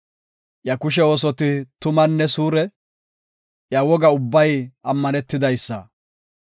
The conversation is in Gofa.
Iya kushe oosoti tumanne suure; iya woga ubbay ammanetidaysa.